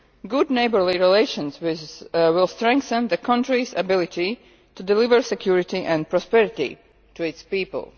Good neighbourly relations will strengthen the country's ability to deliver security and prosperity to its people.